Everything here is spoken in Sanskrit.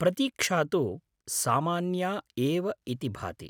प्रतीक्षा तु सामान्या एव इति भाति।